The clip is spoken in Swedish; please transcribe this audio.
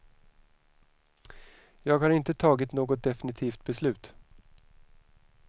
Jag har inte tagit något definitivt beslut.